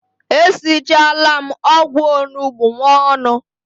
E sichala m ogwu onugbu nwanu